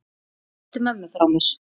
Kysstu mömmu frá mér.